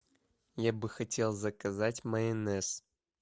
я бы хотел заказать майонез